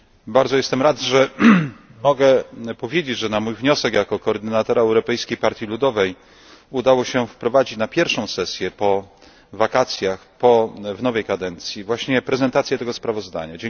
Bardzo jestem rad, że mogę powiedzieć, że na mój wniosek jako koordynatora Europejskiej Partii Ludowej udało się wprowadzić na pierwszą sesję po wakacjach w nowej kadencji właśnie prezentację tego sprawozdania.